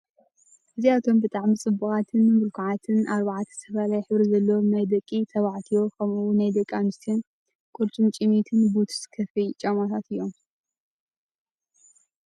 እዚኣቶም ብጣዕሚ ፅቡቓትን ምልኩዓትን ኣርባዕተ ዝተፈላለየ ሕብሪ ዘለዎም ናይ ደቂ ተባዕትዮ ከምኡ ውን ናይ ደ/ኣንስትዮን ቁርጭምጭሚት ቡትስ ከፈይ ጫማታት እዮም።